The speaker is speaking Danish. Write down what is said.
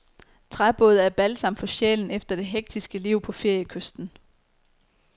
Træbåde er balsam for sjælen efter det hektiske liv på feriekysten.